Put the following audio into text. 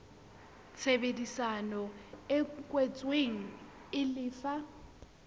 tshebedisano e kwetsweng e lefa